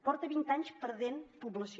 porta vint anys perdent població